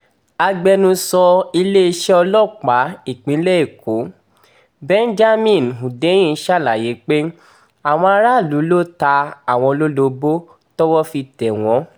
agbẹnusọ iléeṣẹ́ ọlọ́pàá ìpínlẹ̀ èkó benjamin hundeyin ṣàlàyé pé àwọn aráàlú ló ta àwọn lólobó tọ́wọ́ fi tẹ̀ wọ́n